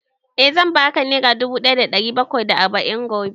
Eh, zan ba ka nera dubu ɗaya da ɗari bakwai da arba'in gobe